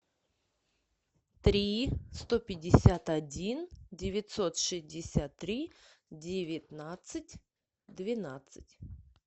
три сто пятьдесят один девятьсот шестьдесят три девятнадцать двенадцать